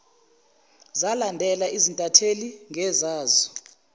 zalandela izintatheli ngezazo